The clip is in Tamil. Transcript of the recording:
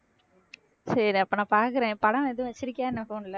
சரி அப்ப நான் பார்க்குறேன் படம் எதுவும் வச்சிருக்கியா என்ன போன்ல